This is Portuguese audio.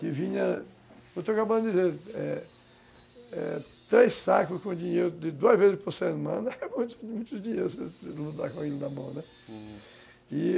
que vinha, como eu estou acabando de dizer, é, é, três sacos com dinheiro, de duas vezes por semana, na mão, né? Hum.